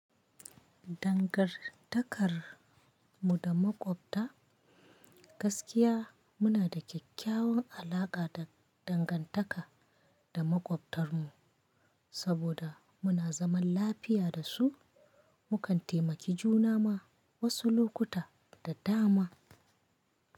Dangantakar mu da maƙwabta. Gaskiya muna da kyakkyawan alaƙa da dangantaka da makwabtarmu, saboda muna zaman lafiya da su, mukan taimaki juna ma wasu lokuta da dama.